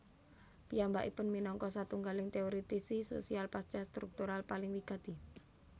Piyambakipun minangka satunggaling teoritisi sosial pasca struktural paling wigati